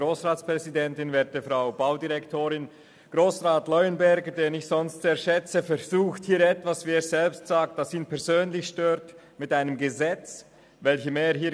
Grossrat Leuenberger, den ich sonst sehr schätze, versucht hier etwas, das ihn, wie er selbst sagt, persönlich stört, mit einem Gesetz zu «erschlagen».